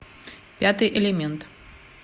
пятый элемент